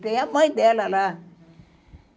Tem a mãe dela lá.